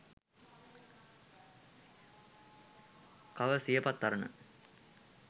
cover siyapath arana